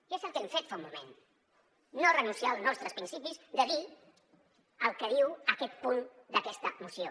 i és el que hem fet fa un moment no renunciar al nostres principis de dir el que diu aquest punt d’aquesta moció